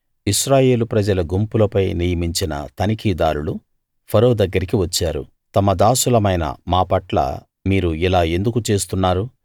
ఇశ్రాయేలు ప్రజల గుంపులపై నియమించిన తనిఖీదారులు ఫరో దగ్గరికి వచ్చారు తమ దాసులమైన మా పట్ల మీరు ఇలా ఎందుకు చేస్తున్నారు